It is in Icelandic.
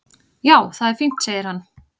"""Já, það er fínt, segir hann."""